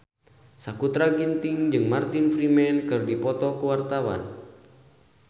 Sakutra Ginting jeung Martin Freeman keur dipoto ku wartawan